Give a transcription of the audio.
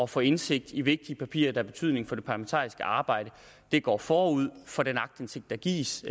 få indsigt i vigtige papirer der har betydning for det parlamentariske arbejde går forud for den aktindsigt der gives